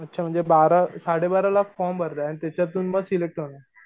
अच्छा म्हणजे बारा साडेबारा लाख फॉर्म भरताय आन त्याच्यातून मग सिलेक्ट होणार.